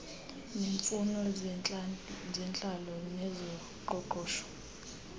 neemfuno zentlalo nezoqoqosho